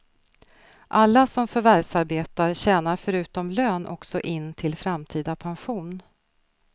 Alla som förvärvsarbetar tjänar förutom lön också in till framtida pension.